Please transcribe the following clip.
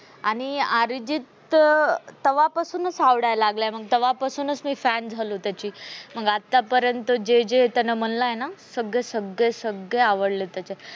आणि अर्जित तेव्हापासूनच आवडायला लागला मंग तेव्हापासूनच fan झालो त्याची, आतापर्यंत जे जे म्हणलं आहे ना सग्गे सगळे सगळे आवडले त्याचे.